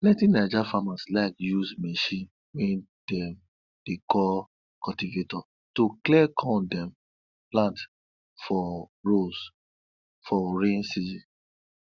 plenty naija farmers like use machine wey dem dey call cultivator to clear corn dem plant for rows for rain season